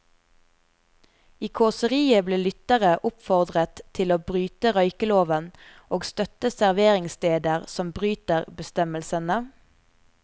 I kåseriet ble lyttere oppfordret til å bryte røykeloven og støtte serveringssteder som bryter bestemmelsene.